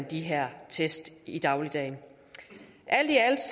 de her test i dagligdagen alt i alt